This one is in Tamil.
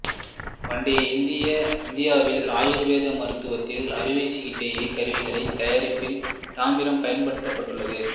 பண்டைய இந்தியாவில் ஆயுர்வேத மருத்துவத்தில் அறுவைச் சிகிச்சைக் கருவிகள் தயாரிப்பில் தாமிரம் பயன்படுத்தப்பட்டுள்ளது